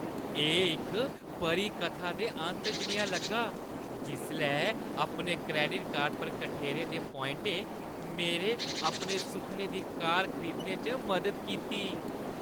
एह् इक परी-कथा दे अंत जनेहा लग्गा जिसलै अपने क्रैडिट कार्ड पर कठेरे दे पोआइंटें मेरे अपने सुखनें दी कार खरीदने च मदद कीती।